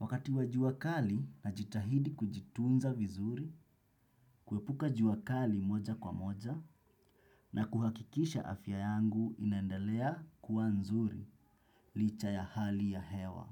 Wakati wa jua kali, najitahidi kujitunza vizuri, kuepuka jua kali moja kwa moja na kuhakikisha afya yangu inaendelea kuwa nzuri, licha ya hali ya hewa.